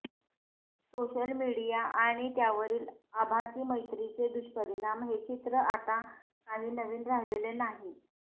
social media आणि त्यावरील आभासी मैत्रीचे दुष्परिणाम हे चित्र आता काही नवीन राहिलेलं नाही